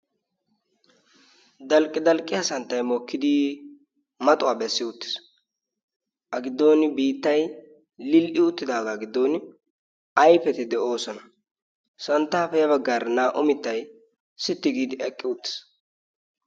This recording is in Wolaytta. dalqqi dalqqiya santtay mookkidi maxuwaa bessi uttiis. a giddon biittai lil77i uttidaagaa giddon ayfetti de7oosona. santtaappe ya baggaara naa77u mittay sitti giidi eqqi uttiis.